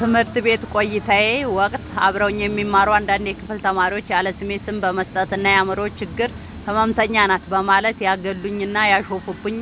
በትምህርት ቤት ቆይታዬ ወቅት አብረውኝ የሚማሩ አንዳንድ የክፍል ተማሪዎች ያለስሜ ስም በመስጠት እና "የአምሮ ችግር ህመምተኛ ናት" በማለት ያገሉኝና ያሾፉብኝ